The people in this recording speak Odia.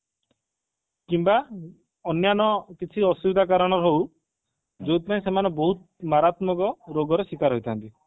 କିମ୍ବା ଅନ୍ୟାନ୍ୟ କିଛି ଆସୁବିଧା କାରଣରୁ ହଉ ଯୋଉଥି ପାଇଁ ସେମାନେ ବହୁତ ମାରାତ୍ମକ ରୋଗର ଶିକାର ହୋଇଥାନ୍ତି